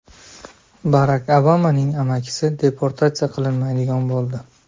Barak Obamaning amakisi deportatsiya qilinmaydigan bo‘ldi.